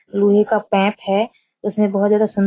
लोहे का पाइप हैं उसमे बहुत ज्यादा सुन --